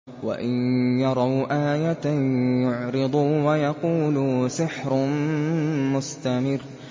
وَإِن يَرَوْا آيَةً يُعْرِضُوا وَيَقُولُوا سِحْرٌ مُّسْتَمِرٌّ